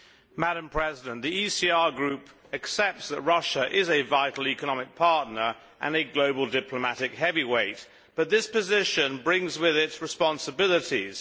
Madam President, the ECR Group accepts that Russia is a vital economic partner and a global diplomatic heavyweight, but this position brings with it responsibilities.